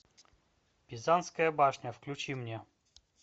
пизанская башня включи мне